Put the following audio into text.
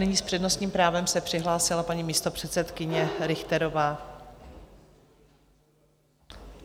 Nyní s přednostním právem se přihlásila paní místopředsedkyně Richterová.